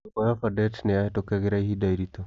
nyũmba ya Fardette nĩyahitũkagĩra ihinda iritũ.